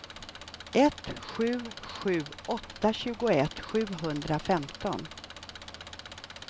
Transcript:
ett sju sju åtta tjugoett sjuhundrafemton